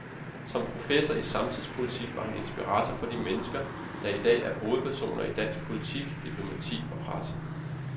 Som professor i samtidspolitik var han inspirator for de mennesker, der i dag er hovedpersoner i dansk politik, diplomati og presse.